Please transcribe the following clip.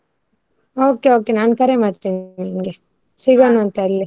Okay, okay ನಾನು ಕರೆ ಮಾಡ್ತೇನೆ ನಿನ್ಗೆ ಸಿಗೋಣ ಅಂತೆ ಅಲ್ಲಿ.